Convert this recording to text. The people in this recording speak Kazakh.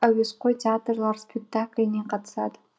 әуесқой театрлар спектакліне қатысады